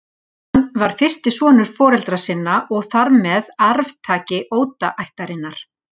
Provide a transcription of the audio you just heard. Hann var fyrsti sonur foreldra sinna og þar með arftaki Oda-ættarinnar.